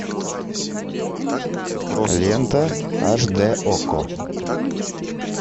лента аш д окко